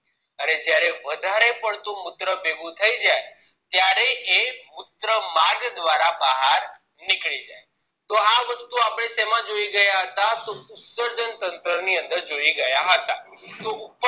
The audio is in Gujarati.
અને જયારે વધારે પડતું મુત્ર ભેગું થઇ જાય ત્યારે એ મુત્ર માર્ગ દ્વારા બહાર નીકળી જાય તો આ વસ્તુ આપણે શેમાં જોઈ ગયા હતા તો ઉત્ત્સર્જન તંત્ર ની અંદર જોઈ ગયા હતા